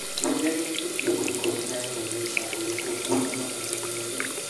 Kiumia gĩki timu ikũmi na ĩmwe niisagũrĩtwe kuma magana merĩ